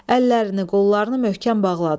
Əllərini, qollarını möhkəm bağladılar.